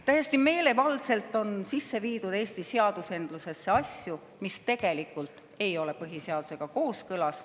Täiesti meelevaldselt on Eesti seadusandlusesse sisse viidud asju, mis tegelikult ei ole põhiseadusega kooskõlas.